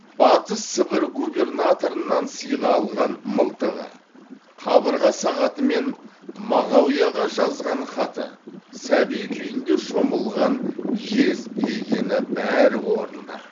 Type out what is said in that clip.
батыс сібір губернаторынан сыйға алған мылтығы қабырға сағаты мен мағауияға жазған хаты сәби күнінде шомылған жез легені бәрі орнында